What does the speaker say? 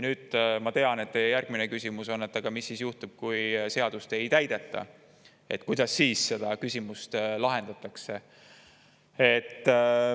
Ma tean, et teie järgmine küsimus on, et aga mis siis juhtub, kui seadust ei täideta, kuidas siis seda küsimust lahendatakse.